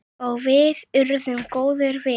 Og við urðum góðir vinir.